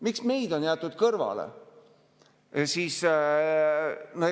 Miks meid on kõrvale jäetud?